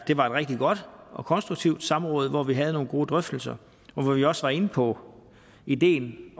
det var et rigtig godt og konstruktivt samråd hvor vi havde gode drøftelser og hvor vi også var inde på ideen